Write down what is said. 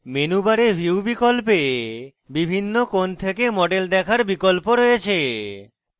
menu bar view বিকল্পে বিভিন্ন কোণ থেকে model দেখার বিকল্প রয়েছে